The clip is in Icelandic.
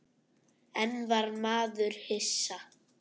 En var maður hissa?